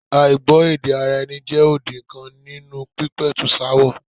Àìgbọ́-èdè-ara-ẹni jẹ́ odi kan nínú pípẹ̀tùsááwọ̀.